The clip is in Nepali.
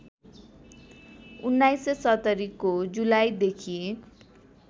१९७० को जुलाईदेखि